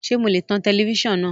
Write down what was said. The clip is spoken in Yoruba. Ṣe mo lè tan tẹlẹfísàn náà?